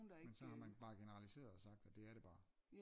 Men så har man bare generaliseret sagt at det er det bare